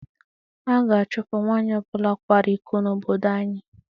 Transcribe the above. A ga-achụpụ nwanyị ọ bụla kwara iko n'obodo anyị.